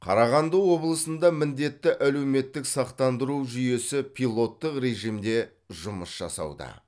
қарағанды облысында міндетті әлеуметтік сақтандыру жүйесі пилоттық режимде жұмыс жасауда